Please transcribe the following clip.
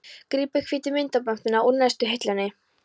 Grípur hvítu myndamöppuna úr neðstu hillunni.